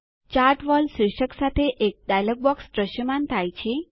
chart wall શીર્ષક સાથે એક ડાયલોગ બોક્સ દ્રશ્યમાન થાય છે